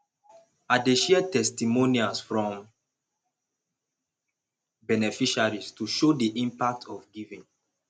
i dey share testimonials from beneficiaries to show the impact of giving